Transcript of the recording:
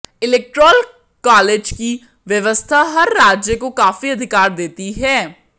electoral college की व्यवस्था हर राज्य को काफ़ी अधिकार देती है